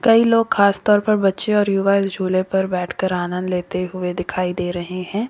कई लोग खासतौर पर बच्चे और झूले पर बैठकर आनंद लेते हुए दिखाई दे रहे हैं।